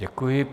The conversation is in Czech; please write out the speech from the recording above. Děkuji.